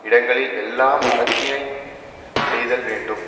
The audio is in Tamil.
இடங்களில் எல்லாம் அறத்தினை செய்தல் வேண்டும்